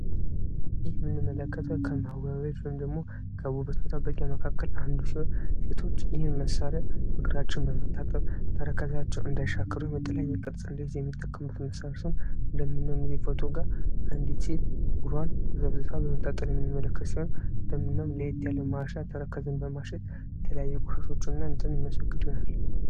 በምስል ላይ የምንመለከተው የንጽህና መጠበቂያ ከምንላቸው አንዱ ሲሆን ሴቶች እግራቸውን በምታጠብ ጥፍራቸውና ተረከዛቸው እንዳይሻክር በተለያየ ቅድስ ቅርጽ የሚያስዙበት ሲሆን እንዲሁም በምስሉ ላይ አንዲት ሴት እግሯን ዘፍዝፋ ለየት ባለ ማሻ ተረከዙን በማሸት ቆሻሻዎችን የሚያስወግድ ይሆናል።